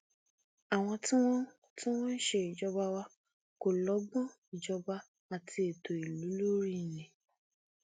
àwọn tí wọn tí wọn ń ṣèjọba wa kò lọgbọn ìjọba àti ètò ìlú lórí ni